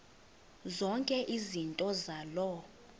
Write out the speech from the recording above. zonke izinto zaloo